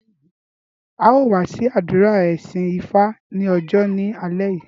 Á ó wá sí àdúrà ìsìn ifá ní ọjọ́ ni alẹ́ yí